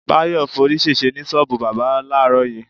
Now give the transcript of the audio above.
Báyò̩ forí s̩ès̩e ní s̩ó̩ò̩bù bábà láàárò̩ yìí.